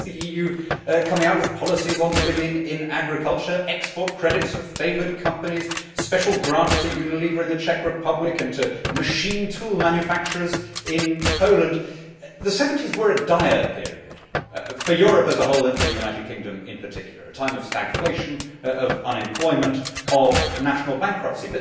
Here is the EU coming out with policies on women in agriculture, export credits for favoured companies, special grants to Unilever in the Czech Republic and to machine tool manufacturers in Poland. The 1970s was a dire period for Europe as a whole and for the United Kingdom in particular a time of stagflation, of unemployment, of national bankruptcy.